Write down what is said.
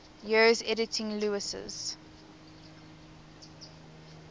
years editing lewes's